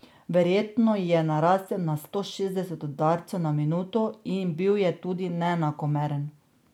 Verjetno ji je narastel na sto šestdeset udarcev na minuto in bil je tudi neenakomeren.